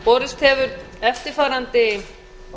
borist hefur eftirfarandi